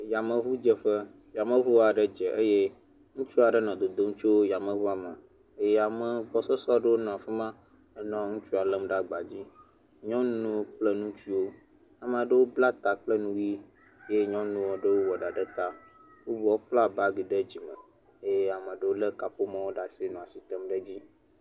Yameŋudzeƒe, yameŋu aɖe dze eye ŋutsu aɖe nɔ dodom tso yameŋua me, ame gbɔsɔsɔ aɖe nɔ afi ma nɔ nutsua lém ɖe agbadzi. Nyɔnu kple ŋutsuwo, ame aɖewo bla ta kple nu ʋi eye nyɔnu aɖewo wɔ ɖa ɖe ta. Wovɔ kpla bagi ɖe dzime eye ame aɖewo lé kaƒomɔ ɖe asi nɔ asi tem ɖe edzi.